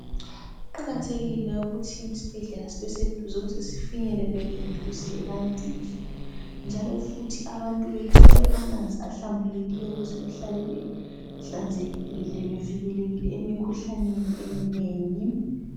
Kuqakathekile ukuthi isibhedlela sibe seduze ukuze sifinyeleleke duze ebantwini njalo futhi abantu bethole amanzi ahlambulekileyo ukuze behlale behlanzekile bevikelekile emkhuhlaneni eminengi